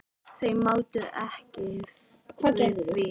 Þau máttu ekki við því.